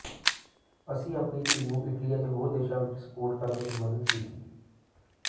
ਅਸੀਂ ਆਪਣੀ ਧੀ ਨੂੰ ਇਟਲੀ ਅਤੇ ਹੋਰ ਦੇਸ਼ਾਂ ਵਿਚ ਸਪੌਟ ਕਰਨ ਵਿਚ ਮਦਦ ਕੀਤੀ